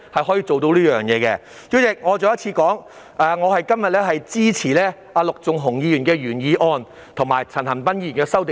代理主席，我重申，我今天支持陸頌雄議員的原議案，以及陳恒鑌議員的修正案。